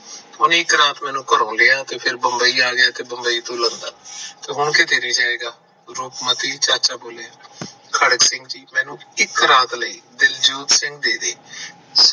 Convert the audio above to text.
ਉਹ ਇੱਕ ਰਾਤ ਮੇਰੇ ਘਰੀ ਰਿਹਾ ਤੇ ਫਿਰ ਬੰਬਈ ਆ ਗਿਆ ਰੂਪਮਤੀ ਚਾਚਾ ਬੋਲਿਆ ਖੜਕ ਸਿੰਘ ਮੈਨੂੰ ਇੱਕ ਰਾਤ ਲਈ ਦਿਲਜੋਤ ਸਿੰਘ ਦੇ ਦੇ